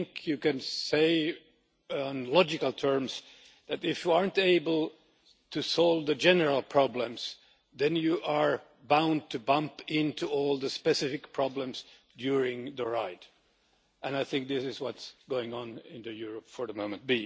I think you can say in logical terms that if you are not able to solve the general problems then you are bound to bump into all the specific problems during the ride. I think this is what is going on in Europe at the moment.